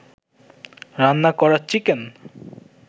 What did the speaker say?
রান্না করা চিকেন